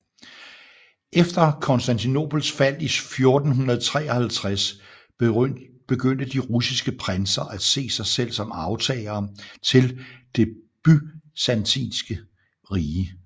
Efter Konstantinopels fald i 1453 begyndte de russiske prinser at se sig selv som arvtagere til Det Byzantinske Rige